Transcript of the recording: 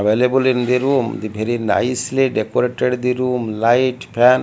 available in the room the very nicely decorated the room light fan--